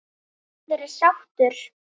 Maður er sáttur.